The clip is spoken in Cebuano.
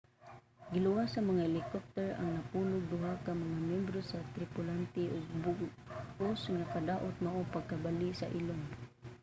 giluwas sa mga helicopter ang napulog duha ka mga myembro sa tripulante ug ang bug-os nga kadaot mao ang pagkabali sa ilong